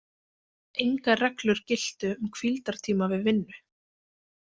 Engar reglur giltu um hvíldartíma við vinnu.